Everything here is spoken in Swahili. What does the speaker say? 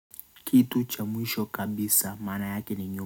Kitu cha mwisho kabisa maana yake ni nyo.